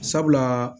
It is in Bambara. Sabula